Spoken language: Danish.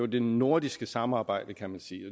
det nordiske samarbejde kan man sige